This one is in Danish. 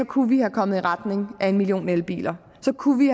kunne vi være kommet i retning af en million elbiler så kunne vi